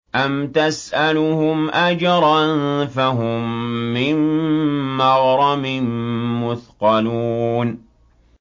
أَمْ تَسْأَلُهُمْ أَجْرًا فَهُم مِّن مَّغْرَمٍ مُّثْقَلُونَ